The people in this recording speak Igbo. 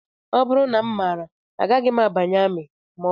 Ọ bụrụ na m maara agaghị m abanye amị